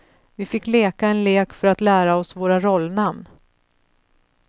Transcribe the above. Vi fick leka en lek för att lära oss våra rollnamn.